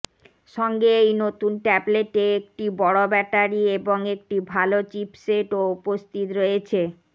সঙ্গে এই নতুন ট্যাবলেটে একটি বড় ব্যাটারি এবং একটি ভাল চিপসেট ও উপস্থিত রয়েছে